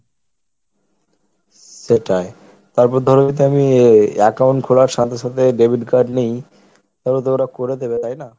সেটাই, তারপর ধরো যদি আমি account খোলার সাথে সাথে debit card নিই তাহলে তো ওরা করে দেবে তাই না?